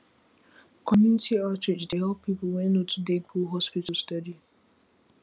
community outreach dey help people wey no too dey go hospital steady